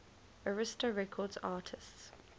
arista records artists